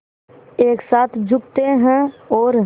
एक साथ झुकते हैं और